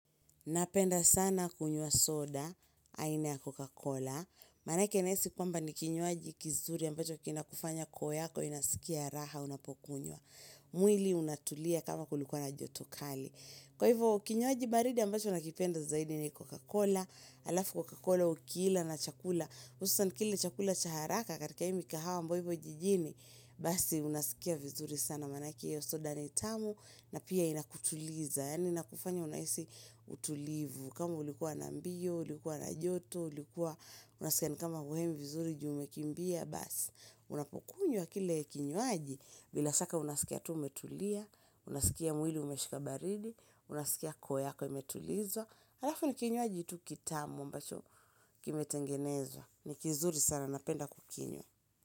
Napenda sana kunywa soda, aina ya Coca-Cola. Manake nesi kwamba ni kinyuaji kizuri ambacho kina kufanya koyako inasikia raha unapokunyua. Mwili unatulia kama kulikuwa na jotokali. Kwa hivo kinyuaji baridi ambacho nakipenda zaidi ni Coca-Cola, alafu Coca-Cola ukila na chakula. Usa nkile chakula cha haraka katika imi kahawa mbo hivo jijini. Basi unasikia vizuri sana manake ya soda ni tamu na pia inakutuliza. Yani na kufanya unaisi utulivu kama ulikuwa na mbio, ulikuwa na joto ulikuwa, unasikia ni kama uhemi vizuri jume kimbia Bas, unapokunywa kile kinyuaji bila saka unasikia tu umetulia Unasikia mwili umeshikabaridi Unasikia koyako umetulizo Harafu ni kinyuaji tu kitamu mbacho kimetengenezwa ni kizuri sana napenda kukinyo.